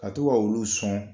Ka to ka olu sɔn